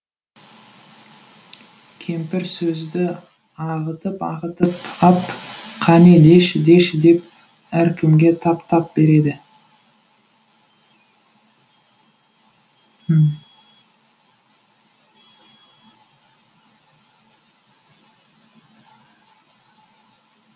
кемпір сөзді ағытып ағытып ап қане деші деші деп әркімге тап тап береді